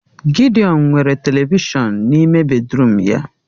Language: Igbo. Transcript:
Gidiọn nwere televishọn n'ime bedịrum ya